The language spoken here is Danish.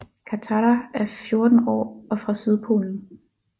Katara er 14 år og fra Sydpolen